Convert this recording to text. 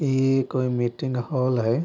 इ कोय meeting hall हय।